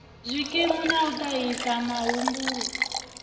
zwikimu na u ṱahisa mahumbulwa